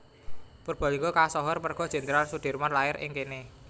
Purbalingga kasohor merga Jenderal Soedirman lair ing kene